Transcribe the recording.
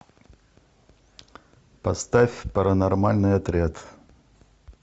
поставь паранормальный отряд